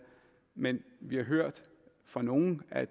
men vi har hørt fra nogle at